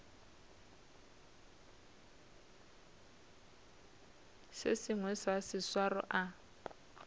se sengwe sa seswaro a